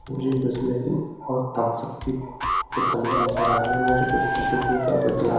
मुझे बिसलैरी और Thums Up की बो बोतल भी नज़र आ रही है मुझे कुछ टिसू पेपर विद ला--